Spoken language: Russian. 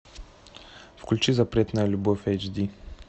включи запретная любовь эйч ди